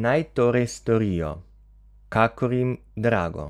Naj torej storijo, kakor jim drago,